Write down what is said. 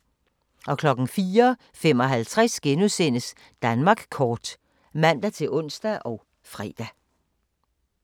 04:55: Danmark kort *(man-ons og fre)